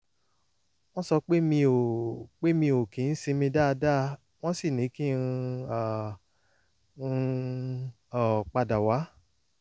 wọ́n sọ pé mi ò pé mi ò kì ń sinmi dáadáa wọ́n sì ní kí um n um padà wá